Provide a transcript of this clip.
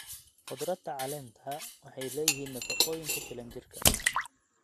Khudradda caleenta waxay leeyihiin nafaqooyin ku filan jirka.